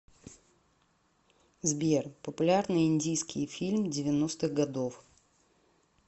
сбер популярные индийские фильм девяностых годов